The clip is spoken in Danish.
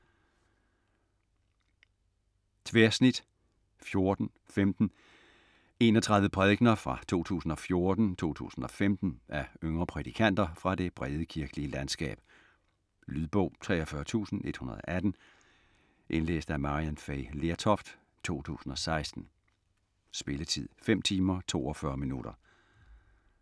Tværsnit '14 -'15: enogtredive prædikener fra 2014-2015 af yngre prædikanter fra det brede kirkelige landskab Lydbog 43118 Indlæst af Maryann Fay Lertoft, 2016. Spilletid: 5 timer, 42 minutter.